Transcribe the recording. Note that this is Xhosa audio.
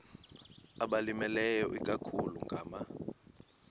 abalimileyo ikakhulu ngama